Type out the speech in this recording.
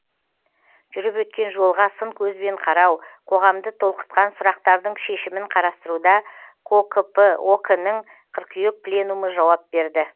жүріп өткен жолға сын көзбен қарау қоғамды толқытқан сүрақтардың шешімін қарастыруда кокп ок нің қыркүйек пленумы жауап берді